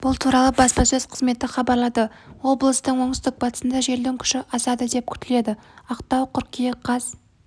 бұл туралы баспасөз қызметі хабарлады облыстың оңтүстік-батысында желдің күші с-тен асады деп күтіледі ақтау қыркүйек қаз